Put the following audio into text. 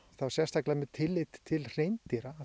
þá sérstaklega með tilliti til hreindýra